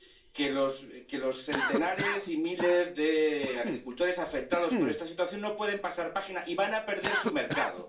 Que los que los centenares y miles de agricultores afectados por esta situación no pueden pasar página y van a perder su mercado.